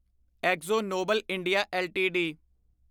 Akzo Nobel India LTD